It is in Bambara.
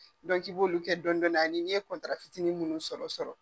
Dɔnki i b'olu kɛ dɔnnin dɔɔnin ani ye kɔntara fitinin minnu sɔrɔ sɔrɔ.